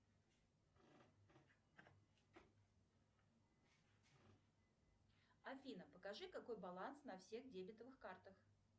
афина покажи какой баланс на всех дебетовых картах